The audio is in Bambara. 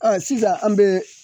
sisan an bɛ